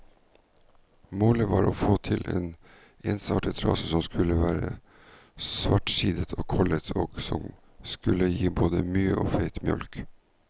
Målet var å få til en ensartet rase som skulle være svartsidet og kollet, og som skulle gi både mye og feit mjølk.